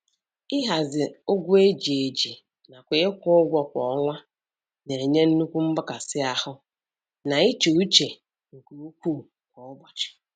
Ịhazi ụgwọ eji eji nakwa ịkwụ ụgwọ kwa ọnwa na-enye nnukwu mgbakasi ahụ na íchè uche nke ukwuu kwa ụbọchị.